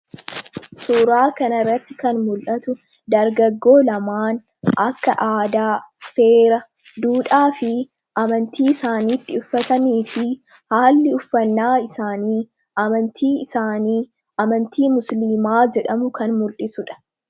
suuraa kanarratti kan mul'atu dargaggoo lamaan akka aadaa seera duudhaa fi amantii isaaniitti uffatamii fi haalli uffannaa isaanii amantii isaanii amantii musliimaa jedhamu kan mul'isudha